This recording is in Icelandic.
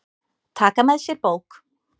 Taka með sér bók.